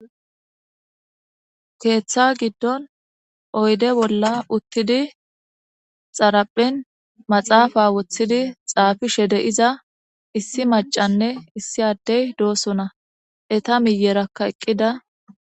Keeththa giddon oyde bolla uttidi xaraphen maxaafa woththidi xaafi shede iza issi macanne issi addey doosona eta miyerakka eqqida.